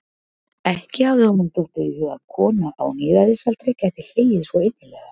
Ekki hafði honum dottið í hug að kona á níræðisaldri gæti hlegið svo innilega.